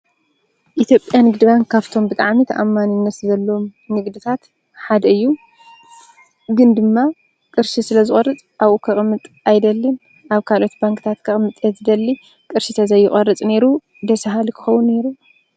ኢ/ያ ንግዲ ባንክ ካፍቶም ብጣዕሚ ተኣማንነት ዘለዎም ንግድታት ሓደ እዩ፡፡ ግን ድማ ቅርሺ ስለ ዝቆርፅ ኣብኡ ከቅምጥ ኣይደልን፡፡ ኣብ ካልኦት ባንክታት ከቅምጥ እየ ዝደሊ ።ቅርሺ ተዘይቆርፅ ነይሩ ደስበሃሊ ክኮን ነይሩ፡፡